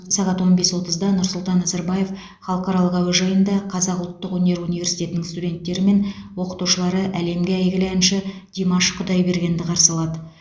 сағат он бес отызда нұрсұлтан назарбаев халықаралық әуежайында қазақ ұлттық өнер университетінің студенттері мен оқытушылары әлемге әйгілі әнші димаш құдайбергенді қарсы алады